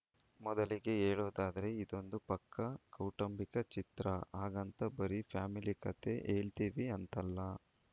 ಮೊದಲಿಗೆ ಹೇಳೋದಾದ್ರೆ ಇದೊಂದು ಪಕ್ಕಾ ಕೌಟುಂಬಿಕ ಚಿತ್ರ ಹಾಗಂತ ಬರೀ ಫ್ಯಾಮಿಲಿ ಕತೆ ಹೇಳ್ತೀವಿ ಅಂತಲ್ಲ